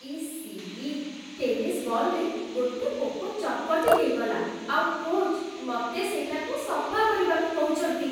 EC, tennis ବଲ୍‌ରେ ଗୋଟେ ପୋକ ଚକଟି ହେଇଗଲା ଆଉ କୋଚ୍ ମତେ ସେଇଟାକୁ ସଫା କରିବାକୁ କହୁଛନ୍ତି!